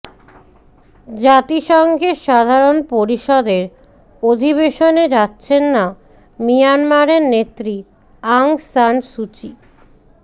জাতিসংঘের সাধারণ পরিষদের অধিবেশনে যাচ্ছেন না মিয়ানমারের নেত্রী অং সান সুচি